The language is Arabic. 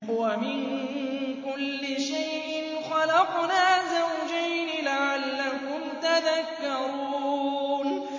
وَمِن كُلِّ شَيْءٍ خَلَقْنَا زَوْجَيْنِ لَعَلَّكُمْ تَذَكَّرُونَ